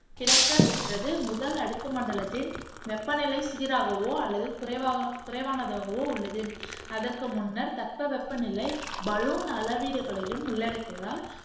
கிடைக்கப்பெற்றது முதல் அடுக்குமண்டலத்தின் வெப்பநிலை சீராகவோ அல்லது குறைவ குறைவானதாகவோ உள்ளது. அதற்கு முன்னர் தட்பவெப்பநிலை பலூன் அளவீடுகளையும் உள்ளடக்கியதால்